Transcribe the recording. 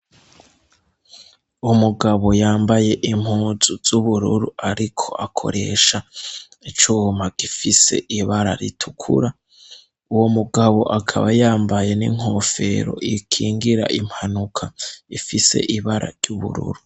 umugabo yambaye impuzu z'ubururu ariko akoresha icuma gifise ibara ritukura. Uwo mugabo akaba yambaye n'inkofero ikingira impanuka ifise ibara ry'ubururu.